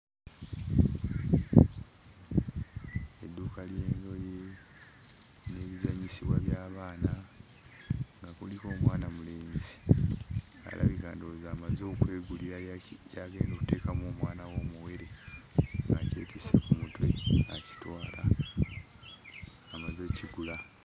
Edduuka ly'engoye n'ebizannyisibwa by'abaana nga kuliko omwanamulenzi alabika ndowooza amaze okwegulirayo ki ky'agenda otteekamu omwana we omuwere, ng'akyetisse ku mutwe akitwala; amaze okkigula.